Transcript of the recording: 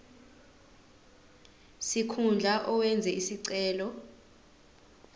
sikhundla owenze isicelo